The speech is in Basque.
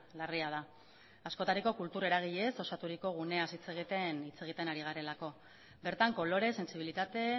larria da askotariko kultur eragileez osaturiko gunea hitz egiten ari garelako bertan kolore sentsibilitate